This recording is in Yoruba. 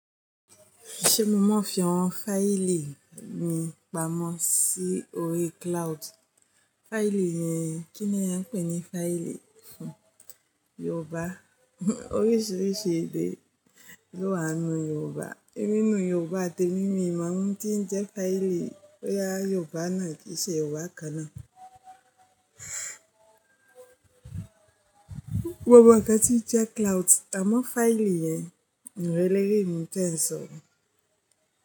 Ṣé mo mọ fi àwọn fáìlì mi pamọ́ sí orí cloud? Fáìlì yẹn kíni ẹ ń pè ní fáìlì fún Yorùbá. Oríṣìíríṣìí èdè ló wà nínú Yorùbá. Nínú Yorùbá tèmi mí o mọ ń ti ń jẹ́ fáìlì bóyá Yorùbá náà kí i ṣe Yorùbá kan náà. Mo mọ̀ nkan tí ń jẹ́ cloud, àmọ́ fáìlì yẹn n really mọ n tẹnsọ.